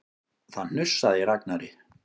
Það hnussaði í Ragnari.